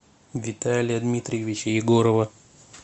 виталия дмитриевича егорова